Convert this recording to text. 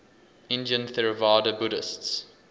indian theravada buddhists